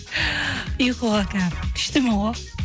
ұйқыға күштімін ғой